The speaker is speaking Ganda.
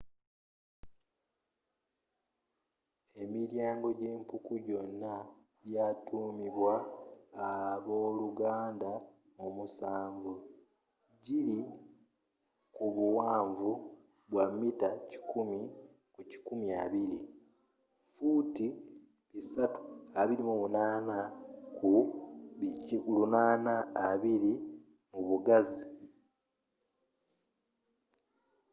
emilyaango gyempuku gyona egyatuumibwa abooluganda omusanvu”,giri kubuwanvu bwa mita 100 ku 250 fuuti 328 ku 820 mu bugazi